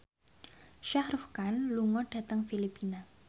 Shah Rukh Khan lunga dhateng Filipina